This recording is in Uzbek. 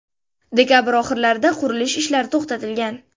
Dekabr oxirlarida qurilish ishlari to‘xtatilgan.